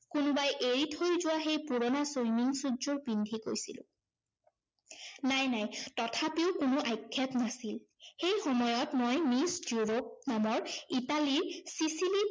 কোনোবাই এৰি থৈ যোৱা সেই পুৰণা swimming suit যোৰ পিন্ধি গৈছিলো। নাই নাই তথাপিও কোনো আক্ষেপ নাছিল। সেই সময়ত এই মিছ ডাৰপ নামৰ ইটালীৰ ছিছিলিত